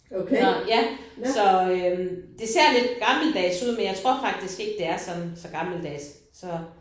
Nåh ja. Så øh det ser lidt gammeldags ud men jeg tror faktisk ikke det er sådan gammeldags så